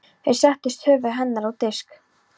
Þeir settu höfuð hennar á disk.